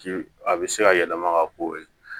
Ji a bɛ se ka yɛlɛma ka k'o ye